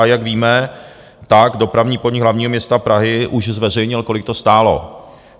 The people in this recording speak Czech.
A jak víme, tak Dopravní podnik Hlavního města Prahy už zveřejnil, kolik to stálo.